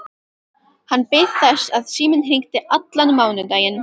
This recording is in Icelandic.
Hann beið þess að síminn hringdi allan mánudaginn.